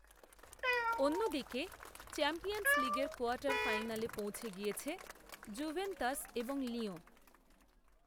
অন্য দিকে চ্যাম্পিয়ন্স লিগের কোয়ার্টার ফাইনালে পৌঁছে গিয়েছে, জুভেন্তাস, এবং লিয়ঁ